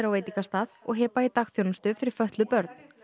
á veitingastað og Heba í dagþjónustu fyrir fötluð börn